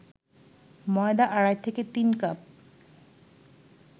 ময়দা আড়াই থেকে তিন কাপ